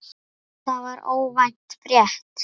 Það var óvænt frétt.